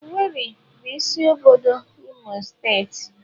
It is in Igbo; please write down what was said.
Owerri bụ isi obodo Imo steeti.